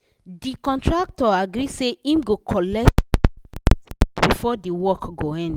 de contractor agree say him go colet before the work go end